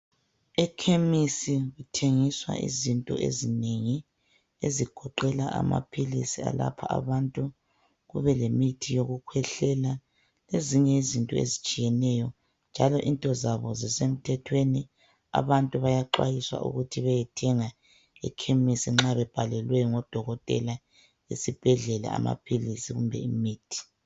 Ekhemesi kuthengiswa izinto ezinengi ezigoqela amaphilisi, kubelemithi eyokukhwehlela lezinye izinto ezitshiyeneyo njalo into zabo zisemthethweni. Abantu bayaxwayiswa ukuba beyethenga ekhemesi nxa bebhalelwe ngudokotela esibhedlela amaphilisi loba imithi.